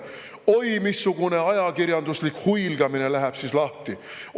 Oi missugune ajakirjanduslik huilgamine läheb siis lahti!